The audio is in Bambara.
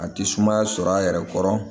A ti sumaya sɔrɔ a yɛrɛ kɔrɔ